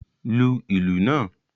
Lu ìlù náà!